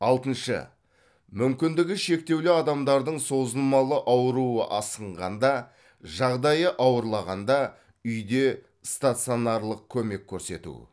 алтыншы мүмкіндігі шектеулі адамдардың созылмалы ауруы асқынғанда жағдайы ауырлағанда үйде стационарлық көмек көрсету